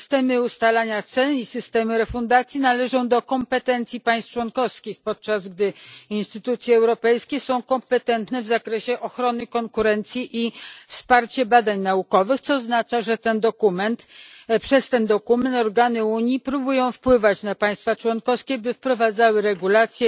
Systemy ustalania cen i systemy refundacji należą do kompetencji państw członkowskich, podczas gdy instytucje europejskie są kompetentne w zakresie ochrony konkurencji i wsparcia badań naukowych, co oznacza, że przez ten dokument organy Unii próbują wpływać na państwa członkowskie, by wprowadzały regulacje